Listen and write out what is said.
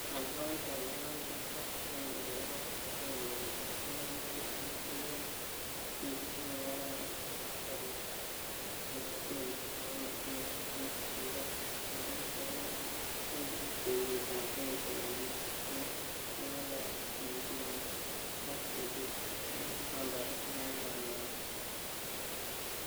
Makwaida kenam chito ing korokoret kotomo kopun tiemutik , kikiai kii ne kikararan ak askarit ap Minneapolis Mohamed Noor ne kipar chebioso ing kenyit ap 2017 ne kingalali ing simet ak polis ing nambarit 911.